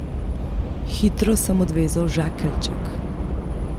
Hitro sem odvezal žakeljček.